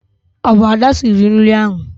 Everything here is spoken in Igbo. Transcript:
Ọ bụ Ada siri nri ahụ.